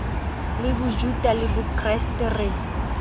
le bojuta le bokreste re